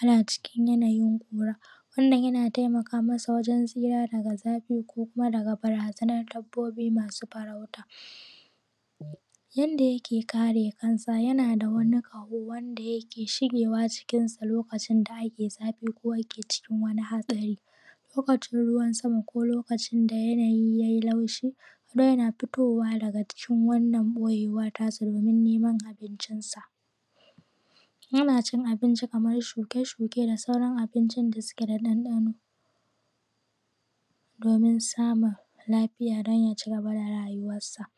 ana cikin yanayin ƙura wannan yana taimaka masa wajen tsira daga zafi ko kuma daga barazanar dabbobi masu farauta. Yanda yake kare kansa yana da wani ƙaho wanda yake shigewa cikinsa lokacin da ake zafi ko ake cikin wani hatsari. Lokacin ruwan sama ko lokacin da yanayi ya yi laushi, adoyana fitowa daga cikin wannan boyewar tasa domin neman abincinsa. Yana cin Abinci kamar shuke shuke da sauran abincin da suke da dandano domin samun lafiya don ya cigaba da raywarsa.